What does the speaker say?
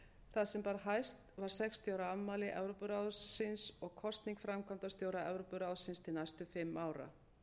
það sem bar hæst var sextíu ára afmæli evrópuráðsins og kosning framkvæmdastjóra evrópuráðsins til næstu fimm ára